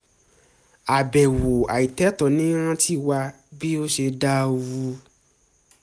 àbẹ̀wò àìtètò ń rántí wa bí ó ṣe dàrú láti jẹun pẹ̀lú ọ̀rẹ́